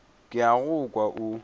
ke a go kwa o